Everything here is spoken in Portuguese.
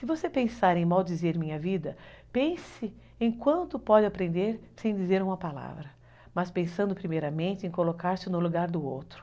Se você pensar em maldizer minha vida, pense em quanto pode aprender sem dizer uma palavra, mas pensando primeiramente em colocar-se no lugar do outro.